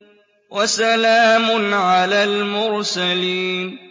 وَسَلَامٌ عَلَى الْمُرْسَلِينَ